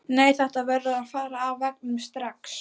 Nei, þetta verður að fara af veggnum strax!